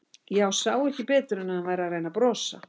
Ég sá ekki betur en að hann væri að reyna að brosa.